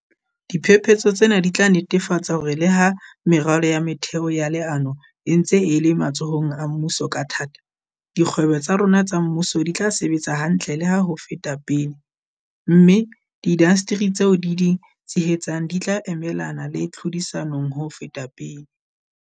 Diphetoho tsena di tla netefatsa hore le ha meralo ya metheo ya leano e ntse e le matsohong a mmuso ka thata, dikgwebo tsa rona tsa mmuso di tla sebetsa hantle le ho feta pele, mme diindasteri tseo di di tshehetsang di tla emelana le tlhodisano ho feta pele.